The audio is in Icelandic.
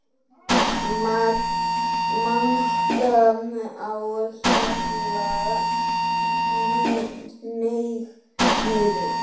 MANGI Á HJALLA, hneig niður.